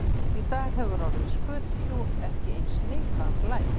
Í dag hefur orðið skötuhjú ekki eins neikvæðan blæ.